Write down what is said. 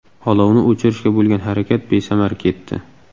Olovni o‘chirishga bo‘lgan harakat besamar ketdi.